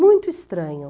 Muito estranho.